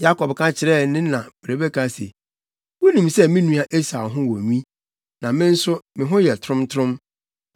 Yakob ka kyerɛɛ ne na Rebeka se, “Wunim sɛ me nua Esau ho wɔ nwi, na me nso, me ho yɛ trontrom.